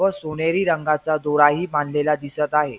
व सोनेरी रंगाचा दोराही बांधलेला दिसत आहे.